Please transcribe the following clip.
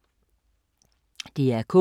DR K